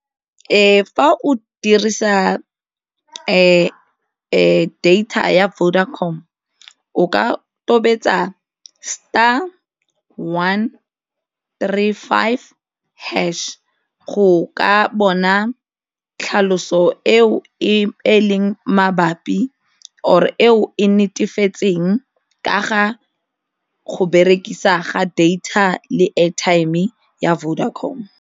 Fa o dirisa data ya Vodacom o ka tobetsa star, one, three, five, hash go ka bona tlhaloso eo e leng mabapi or eo e netefetseng ka ga go berekisa ga data le airtime ya Vodacom.